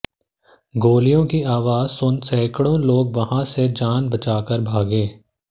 गोलियों की आवाज़ सुन सैकड़ों लोग वहां से जान बचाकर भागे